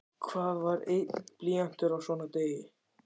Hvað var einn blýantur á svona degi?